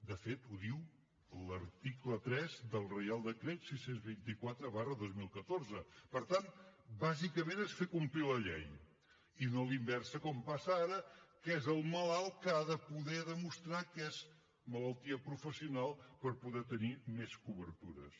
de fet ho diu l’article tres del reial decret sis cents i vint quatre dos mil catorze per tant bàsicament es fer complir la llei i no a la inversa com passa ara que és el malalt que ha de poder demostrar que és malaltia professional per poder tenir més cobertures